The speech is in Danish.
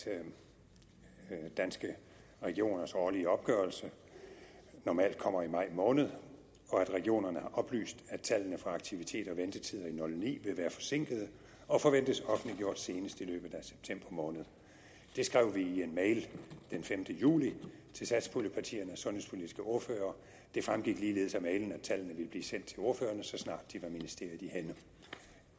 danske regioners årlige opgørelse normalt kommer i maj måned og at regionerne har oplyst at tallene for aktiviteter og ventetider i og ni vil være forsinket og forventes offentliggjort senest i løbet af september måned det skrev vi i en mail den femte juli til satspuljepartiernes sundhedspolitiske ordførere det fremgik ligeledes af mailen at tallene ville blive sendt til ordførerne så snart de var ministeriet i hænde